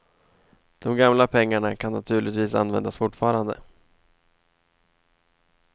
De gamla pengarna kan naturligtvis användas fortfarande.